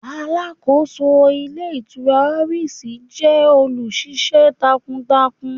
Aláàkóso Ilé Ìtura Oris jẹ́ olù ṣiṣẹ́ takuntakun